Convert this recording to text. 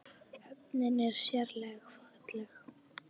Höfnin er sérleg falleg.